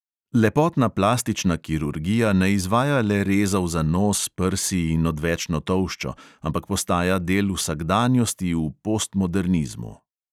Lepotna plastična kirurgija ne izvaja le rezov za nos, prsi in odvečno tolščo, ampak postaja del vsakdanjosti v postmodernizmu.